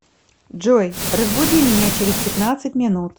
джой разбуди меня через пятнадцать минут